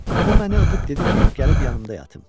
O məni öpüb dedi ki, gəlib yanımda yatım.